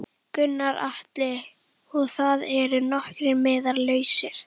Gunnar Atli: Og það eru nokkrir miðar lausir?